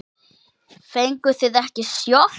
Fenguð þið ekki sjokk?